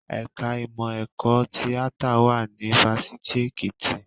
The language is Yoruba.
Ẹ̀ka ìmọ̀ ẹ̀kọ́ tíátà wà ní Fáṣitì Ekiti